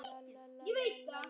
Ást og friður fylgi ykkur.